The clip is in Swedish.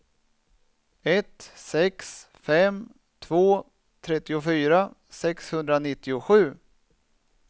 ett sex fem två trettiofyra sexhundranittiosju